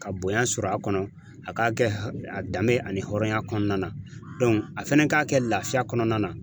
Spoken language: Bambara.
Ka bonya sɔrɔ a kɔnɔ, a ka kɛ a danbe ani hɔrɔnya kɔnɔna na a fɛnɛ ka kɛ lafiya kɔnɔna na.